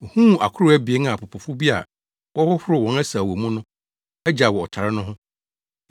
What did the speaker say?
Ohuu akorow abien a apopofo bi a wɔhohoro wɔn asau wɔ mu no agyaw wɔ ɔtare no ho.